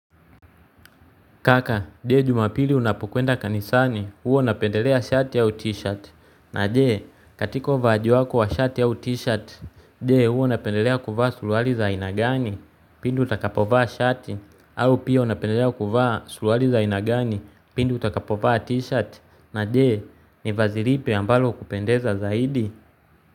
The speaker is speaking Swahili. Kaka, je jumapili unapokwenda kanisani, huwa unapendelea shati au t-shirt, na je katika uvaaji wako wa shati au t-shirt je huwa unapendelea kuvaa suruali za aina gani, pindi utakapovaa shati, au pia napendelea kuvaa suruali za aina gani, pindi utakapovaa t-shirt, na je ni vazi lipi ambalo hukupendeza zaidi.